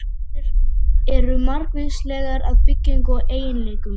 Veirur eru margvíslegar að byggingu og eiginleikum.